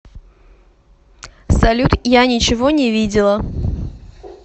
салют я ничего не видела